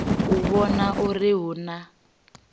u vhona uri hu na